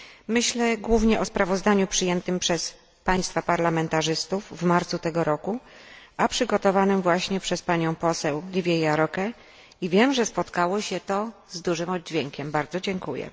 Myślę głównie o sprawozdaniu przyjętym przez Państwa parlamentarzystów w marcu tego roku, a przygotowanym właśnie przez panią poseł Livię Járókę, i wiem, że spotkało się ono z dużym oddźwiękiem bardzo dziękuję.